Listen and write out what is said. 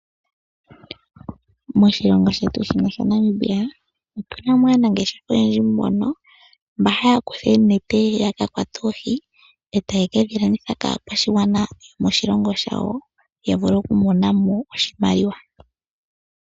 Moshilongo shetu shino sha Namibia otu na mo aanangeshefa oyendji mono mba haya kutha oonete ya ka kwate oohi, e taye ke dhi landitha kaakwashigwana yomoshilongo shawo, ya vule okumona mo oshimaliwa.